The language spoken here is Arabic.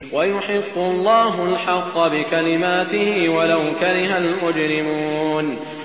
وَيُحِقُّ اللَّهُ الْحَقَّ بِكَلِمَاتِهِ وَلَوْ كَرِهَ الْمُجْرِمُونَ